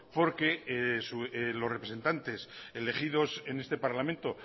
porque los representantes elegidos en este parlamento